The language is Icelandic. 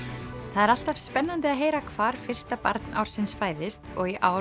það er alltaf spennandi að heyra hvar fyrsta barn ársins fæðist og í ár